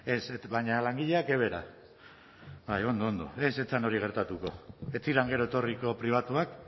ez baina langileak evera ondo ondo ez zen hori gertatuko ez ziren gero etorriko pribatuak